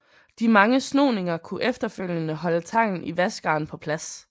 De mange snoninger kunne efterfølgende holde tangen i vaskeren på plads